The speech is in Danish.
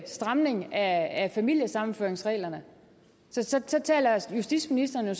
stramning af familiesammenføringsreglerne så taler justitsministeren jo